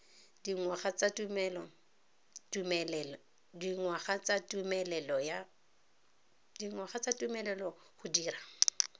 dingwaga tsa tumelelo go dira